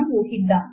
ఇంక విరమిస్తున్నాము